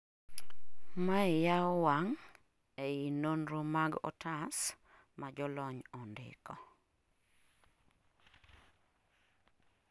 Mae yawo wang' ei nonro mag otas majolony ondiko